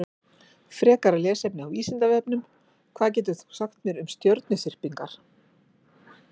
Frekara lesefni á Vísindavefnum: Hvað getur þú sagt mér um stjörnuþyrpingar?